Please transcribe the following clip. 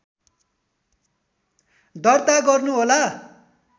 दर्ता गर्नुहोला